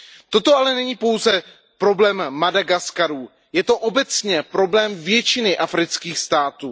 Toto ale není pouze problém Madagaskaru, je to obecně problém většiny afrických států.